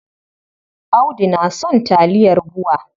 Audu na son taliyar BUA.